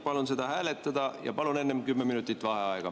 Palun seda hääletada ja palun enne 10 minutit vaheaega.